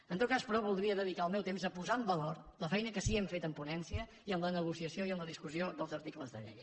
en tot cas però voldria dedicar el meu temps a posar en valor la feina que sí que hem fet en ponència i en la negociació i en la discussió dels articles de la llei